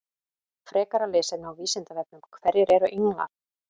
Frekara lesefni á Vísindavefnum: Hverjir eru englar?